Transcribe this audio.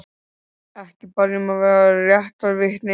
Ekki bað ég um að vera réttarvitni.